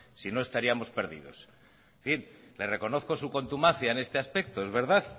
si no estaríamos perdidos en fin le reconozco su contumacia en este aspecto es verdad